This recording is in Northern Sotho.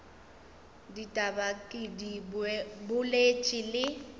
ditaba ke di boletše le